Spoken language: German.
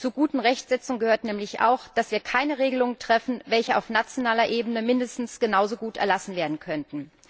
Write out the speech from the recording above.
Zur guten Rechtsetzung gehört nämlich auch, dass wir keine Regelungen treffen, welche auf nationaler Ebene mindestens genauso gut erlassen werden könnten.